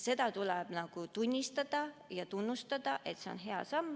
Seda tuleb tunnustada, see on hea samm.